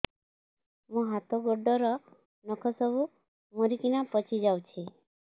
ମୋ ହାତ ଗୋଡର ନଖ ସବୁ ମରିକିନା ପଚି ଯାଉଛି